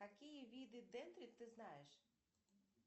какие виды дентри ты знаешь